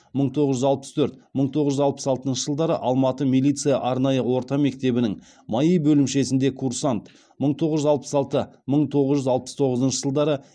мың тоғыз жүз алпыс төрт мың тоғыз жүз алпыс алтыншы жылдары алматы милиция арнайы орта мектебінің маи бөлімшесінде курсант мың тоғыз жүз алпыс алтыншы мың тоғыз жүз алпыс тоғызыншы жылдары